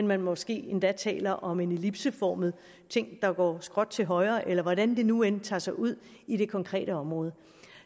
man måske endda taler om en ellipseformet ting der går skråt til højre eller hvordan det nu end tager sig ud i det konkrete område